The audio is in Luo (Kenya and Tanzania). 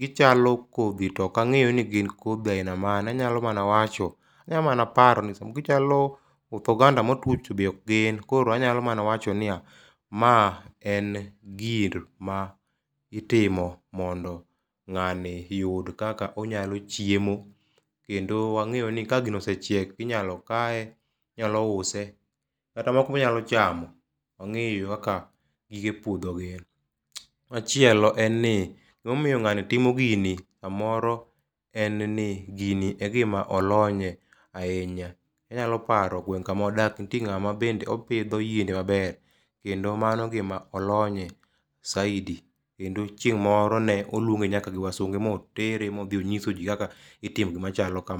gichalo kodhi to ok ang'eyo ni gin kodhi aina mage, anyalo mana wacho, anya mana paro ni gichalo koth oganda motwe, to be ok gin. Koro anyalo mana wacho ni ya, ma en gima itimo mondo ng'ani yud kaka onyalo chiemo, kendo wang'eyo ni ka gino osechiek, inyalo kaye, inyalo use, kata moko be onyalo chamo. Ong'eyo kaka gige puodho gin. Machielo, en ni gimomiyo ng'ani timo gini, samoro en ni gini e gima olony ye, ahinya. Anyalo paro gweng' kama wadakie, nitie ng'ama bende opidho yiende maber kendo mano gima olony ye saidi, kendo chieng' moro ne olwonge nyaka gi wasunge motere mo dhi onyiso ji kaka itimo gima chalo kama.